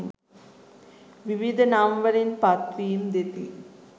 විවිධ නම් වලින් පත් වීම් දෙති.